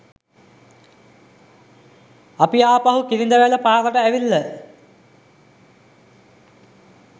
අපි ආපහු කිරිඳිවැල පාරට ඇවිල්ල